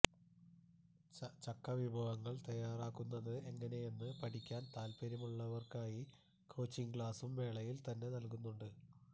ചക്ക വിഭവങ്ങള് തയ്യാറാക്കുന്നത് എങ്ങനെയെന്ന് പഠിക്കാന് താല്പ്പര്യമുള്ളവര്ക്കായി കോച്ചിംഗ് ക്ളാസും മേളയില് തന്നെ നല്കുന്നുണ്ട്